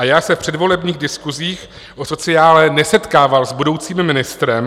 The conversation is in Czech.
A já se v předvolebních diskusích o sociále nesetkával s budoucím ministrem.